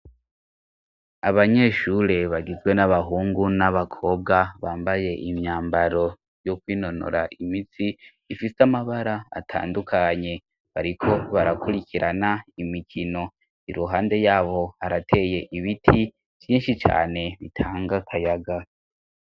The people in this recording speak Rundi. Abanyeshure bagizwe n'abahungu n'abakobwa bambaye imyambaro yo kwinonora imitsi ifise amabara atandukanye bariko barakurikirana imikino i ruhande yabo harateye ibiti vinshi cane bitanga akayaga.